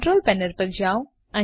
control panel પર જાઓ